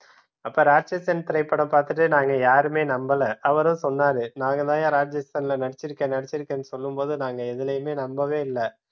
அப்ப ராட்சசன் திரைப்படம் பார்த்துட்டு நாங்க யாருமே நம்பல அவரும் சொன்னாரு நாங்க தான்யா ராட்சசன்ல நடிச்சிருக்கேன் நடிச்சிருக்கேன்னு சொல்லும்போது நாங்க எதுலையுமே நம்பவே இல்லை